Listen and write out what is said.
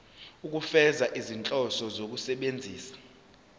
ukufeza izinhloso zokusebenzisa